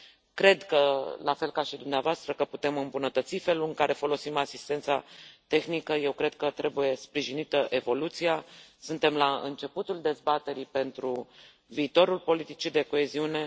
Cred, la fel ca și dumneavoastră, că putem îmbunătăți felul în care folosim asistența tehnică, eu cred că trebuie sprijinită evoluția, suntem la începutul dezbaterii pentru viitorul politicii de coeziune.